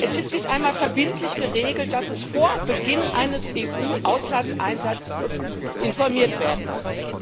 Es ist nicht einmal verbindlich geregelt, dass es vor Beginn eines EU Auslandseinsatzes informiert werden muss.